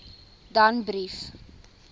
danbrief